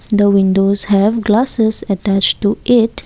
The windows have glasses attached to it.